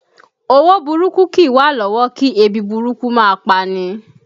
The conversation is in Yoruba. Owó burúkú kìí wà lọ́wọ́ kí ebi burúkú máa pani